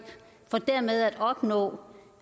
nå